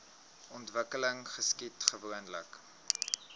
ontwikkeling geskied gewoonlik